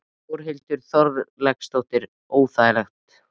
Þórhildur Þorkelsdóttir: Óþægilegt?